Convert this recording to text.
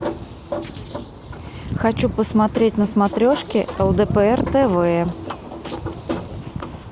хочу посмотреть на смотрешке лдпр тв